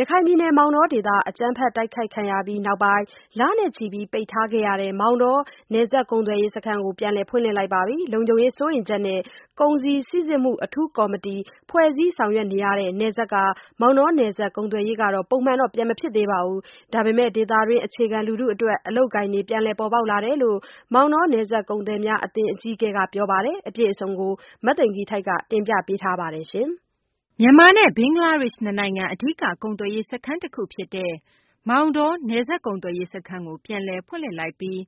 ရခိုင်ပြည်နယ် မောင်တောဒေသ အကြမ်းဖက် တိုက်ခိုက်ခံရမှု နောက်ပိုင်း လနဲ့ချီ ပိတ်ထားခဲ့ရတဲ့ မောင်တော နယ်စပ်ကုန်သွယ်ရေး စခန်းကို ပြန်လည် ဖွင့်လှစ်လိုက်ပါပြီ။ လုံခြုံရေး စိုးရိမ်ချက်နဲ့ ကုန်စည်စိစစ်မှု အထူးကော်မတီ ဖွဲ့စည်းဆောင်ရွက်နေရတဲ့ နယ်စပ် မောင်တော နယ်စပ် ကုန်သွယ်ရေးက ပုံမှန်တော့ ပြန်မဖြစ်သေးပါဘူး။ ဒါပေမယ့် ဒေသတွင်း အခြေခံ လူထု အတွက် အလုပ်အကိုင်တွေ ပြန်လည် ပေါ်ပေါက်လာတယ်လို့ မောင်တော နယ်စပ်ကုန်သည်များ အသင်းအကြီးအကဲက ပြောပါတယ်။ မသိင်္ဂ ီထိုက် တင်ပြထားပါတယ်။ မြန်မာနဲ့ ဘင်္ဂလားဒေရှ့် နှစ်နိုင်ငံ အဓိက ကုန်သွယ်ရေး စခန်းတခု ဖြစ်တဲ့ မောင်တော နယ်စပ်ကုန်သွယ်ရေး စခန်းကို ပြန်လည်ဖွင့်လှစ်လိုက်ပြီး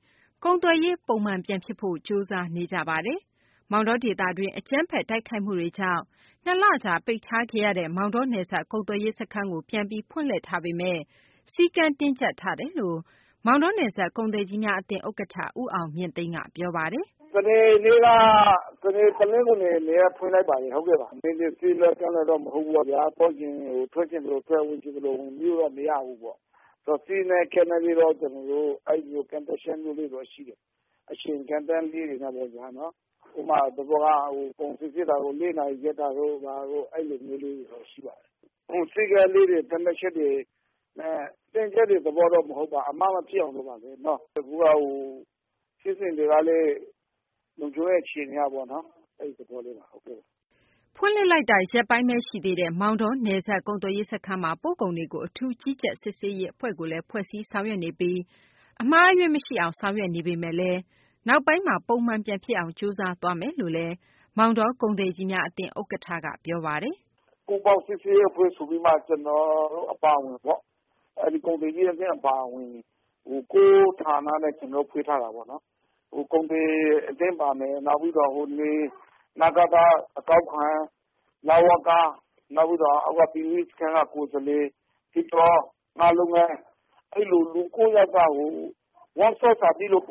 ကုန်သွယ်ရေး ပုံမှန် ပြန်ဖြစ်ဖို့ ကြိုးစားနေကြပါတယ်။ မောင်တော ဒေသတွင်း အကြမ်းဖက် တိုက်ခိုက်မှုတွေကြောင့် ၂ လကြာ ပိတ်ထားခဲ့ရတဲ့ မောင်တော နယ်စပ် ကုန်သွယ်ရေး စခန်းကို ပြန်ပြီး ဖွင့်လှစ်ထားပေမယ့် စည်းကမ်းတင်းကြပ်ထားတယ်လို့ မောင်တောနယ်စပ် ကုန်သည်ကြီးများ အသင်း ဥက္ကဌ ဦးအောင်မြင့်သိန်းက ပြောပါတယ်။ “စနေ နဲ့ တနင်္ဂနွေနေ့ ၂ ရက် ဖွင့်လိုက်ပါတယ်။ ထွက်ချင်သလိုထွက် ဝင်ချင်သလိုဝင်လို့တော့ မရဘူးပေါ့ဗျာ။ ကျနော်တို့ စည်းကမ်း ကန့်သက်ချက်လေးတွေတော့ရှိတယ်။ အချိန်ကန့်သတ်တာလေးတွေပေါ့နော်။ ဥပမာ ကုန်စီစစ်တာကို ၄ နာရီတို့ဘာတို့ ၊ အဲလိုမျိုးလေးတွေတော့ရှိပါတယ်။ စည်းကမ်းသတ်မှတ်ချက်လေးတွေ ၊ တင်းကျပ်တဲ့သဘောတော့မဟုတ်ပါဘူး အမှားမဖြစ်အောင်လို့ပါ။ အခုက ဖြစ်စဉ်တွေကလည်း လုံခြုံရေးအခြေအနေတွေ အရပေါ့နော် အဲဒီသဘောလေးပါ။” ဖွင့်လှစ်လိုက်တာ ရက်ပိုင်းဘဲ ရှိသေးတဲ့ မောင်တော နယ်စပ် ကုန်သွယ်ရေး စခန်းမှာ ပို့ကုန်တွေကို အထူးကြီးကြပ် စစ်ဆေးရေး အဖွဲ့ကိုလည်း ဖွဲ့စည်း ဆောင်ရွက်နေပြီး အမှားအယွင်း မရှိအောင် ဆောင်ရွက်နေပေမယ့် နောက်ပိုင်းမှာ ပုံမှန်ပြန်ဖြစ်အောင် ကြိုးစားသွားမယ်လို့လည်း မောင်တော ကုန်သည်ကြီးများ အသင်း ဥက္ကဌက ပြောပါတယ်။ “ပူးပေါင်းစစ်ဆေးရေးအဖွဲ့ဆိုပြီးတော့မှ ကျနော်အပါအဝင်ပေါ့နော် အဲဒီ ကုန်သည်ကြီးအသင်းအပါအဝင် ကိုယ့်ဌာနနဲ့ ကျနော်တို့ ဖွင့်ထားတာပေါ့နော်။ ကုန်သည်အသင်းပါမယ်၊ နောက် အကောက်ခွန် ၊ နဝက ၊ နောက် အောက်ဘက်က ကုန်သွယ်ရေးစခန်းက ကိုယ်စားလှယ် ၊ နောက် အဲလို ၉ ယောက်က ကျနော်တို့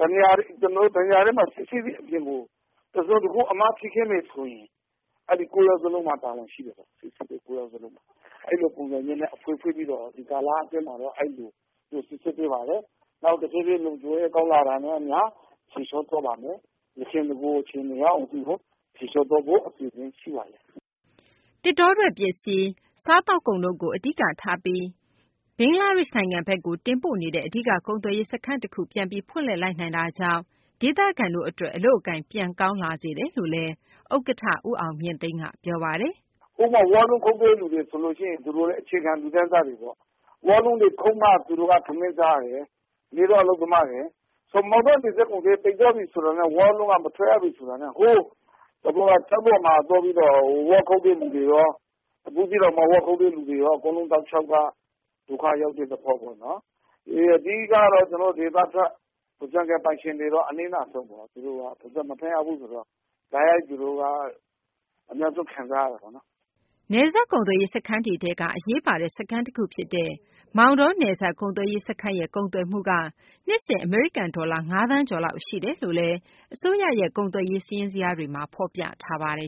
တနေရာထဲမှာ စိစစ်ပြီးအပြင်ကို တစုံတခု အမှားဖြစ်ခဲ့မယ်ဆိုရင် အဲဒီ ၉ ယောက်စလုံးမှာ တာဝန်ရှိတယ်ခင်ဗျ။စိစစ်တဲ့ ၉ ယောက်စလုံးမှာ တာဝန်ရှိတယ် အဲလိုပုံစံမျိုးနဲ့ ဖွင့်ပြီးတော့ ဒီကာလအတွင်းမှာတော့ အဲလို စီစစ်ပေးပါတယ်။ နောက် တဖြေးဖြေးလုံခြုံရေး ကောင်းလာတာနဲ့အမျှ ဖြေလျှော့သွားပါမယ်။ယခင် နဂိုအခြေအနေရောက်အောင်လို့ ဖြေလျှော့သွားဖို့ အစီအစဉ်ရှိပါတယ်။” သစ်တောထွက် ပစ္စည်း၊ စားသောက်ကုန်တို့ကို အဓိကထားပြီး ဘင်္ဂလားဒေရှ့် နိုင်ငံဘက်ကို တင်ပို့နေတဲ့ အဓိက ကုန်သွယ်ရေး စခန်းတခု ပြန်ပြီး ဖွင့်လှစ်လိုက်နိုင်တာကြောင့် ဒေသခံတို့ အတွက် အလုပ်အကိုင် ပြန်ကောင်းလာစေတယ်လို့လည်း ဥက္ကဌ ဦးအောင်မြင့်သိန်းက ပြောပါတယ်။ “ဥပမာ -ဝါးလုံးခုတ်တဲ့လူတွေဆိုရင် အခြေခံ လူတန်းစားတွေပေါ့။ ဝါးလုံးတွေခုတ်မှ ထမင်းစားရတယ်၊ နေ့စားအလုပ်သမားတွေ ဆိုတော့ မောင်တော နယ်စပ်ကုန်သွယ်ရေး ပိတ်သွားပြီဆိုရင် ဝါးလုံးက မထွက်ရဘူးဆိုတာနဲ့ ဥပမာ ကျောက်တော်မှာ ဝါးသွားခုတ်တဲ့လူတွေရော၊ ဘူးသီးတောင်မှာ ဝါးခုတ်တဲ့လူတွေရောက အကုန်တောက်လျှောက်က ဒုက္ခရောက်တဲ့သဘော ပေါ့နော် အဓိကတော့ ကျနော်တို့ ဒေသထွက် ဝါးခြံပိုင်ရှင်တွေကတော့ အနစ်နာဆုံးပေါ့နော်။ မထွက်ရဘူးဆိုတော့ တိုက်ရိုက်သူတို့က အများဆုံးခံစားရတာပေါ့နော်။” နယ်စပ်ကုန်သွယ်ရေး စခန်းတွေထဲက အရေးပါတဲ့ စခန်းတခုဖြစ်တဲ့ မောင်တော နယ်စပ်ကုန်သွယ်ရေး စခန်းရဲ့ ကုန်သွယ်မှုက နှစ်စဉ် အမေရိကန် ဒေါ်လာ ၅ သန်းကျော်လောက် ရှိတယ်လို့လည်း အစိုးရရဲ့ ကုန်သွယ်ရေး စာရင်းတွေမှာ ဖော်ပြပါတယ်